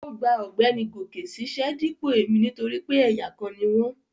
Ó gba ọ̀gbẹ́ni Goke ṣíṣẹ́ dípò èmi nítorí pé ẹ̀yà kan ni wọ́n